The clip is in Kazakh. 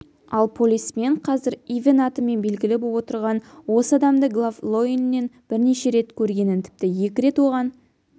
ал полисмен қазір ивэн атымен белгілі боп отырған осы адамды глав-лойннен бірнеше рет көргенін тіпті екі рет оған